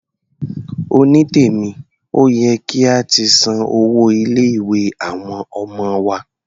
Onítèmí, ó yẹ kí a ti san owó ilé-ìwé àwọn ọmọ wa.